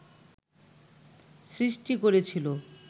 সৃষ্টি করেছিল